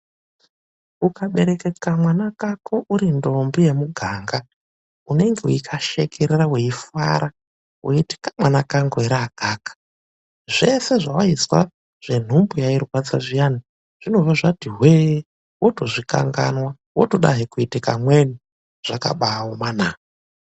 Ukabereke kamwana kako uri ndombi yemuganga, unenge weikashekerera weifara weiti kamwana kangu ere akaka. Zvese zvewaizwa zvenhumbu yairwadza zviyana zvinobva zvati hwee, wotozvikanganwa wotodazve kuita kamweni. Zvakabaaoma na!